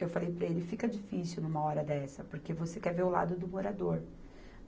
Eu falei para ele, fica difícil numa hora dessa, porque você quer ver o lado do morador.